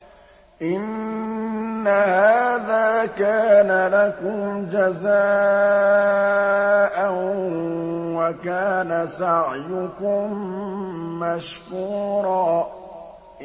إِنَّ هَٰذَا كَانَ لَكُمْ جَزَاءً وَكَانَ سَعْيُكُم مَّشْكُورًا